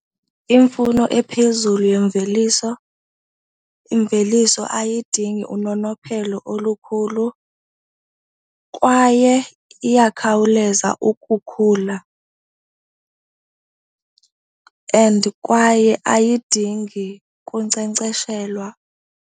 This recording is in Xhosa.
Imfuno ephezulu yemveliso, imveliso ayidingi unonophelo olukhulu kwaye iyakhawuleza ukukhula and kwaye ayidingi kunkcenkceshelwa.